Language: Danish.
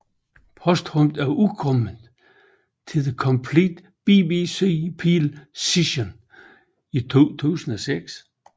Posthumt er udkommet The Complete BBC Peel Sessions i 2006